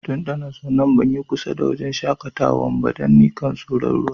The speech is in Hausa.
Tun da na zo nan ban yi kusa da wajen shakatawan ba, dan nikan soro'n ruwa.